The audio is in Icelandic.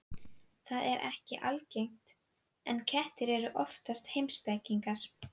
Það er nú ekki algengt, en kettir eru oft heimspekingar.